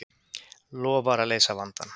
Lofar að leysa vandann